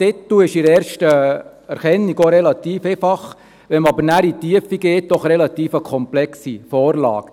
Wenn man aber nachher in die Tiefe geht, ist es eine relativ komplexe Vorlage.